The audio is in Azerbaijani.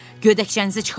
Köynəkcənizi çıxarın.